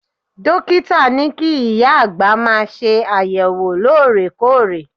Dókítà ní kí ìyá àgbà máa ṣe àyẹ̀wò loore-koore.